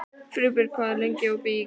Friðbjörg, hvað er lengi opið í IKEA?